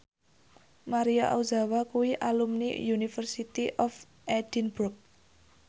Maria Ozawa kuwi alumni University of Edinburgh